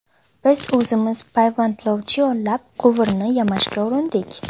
Biz o‘zimiz payvandlovchi yollab quvurni yamashga urindik.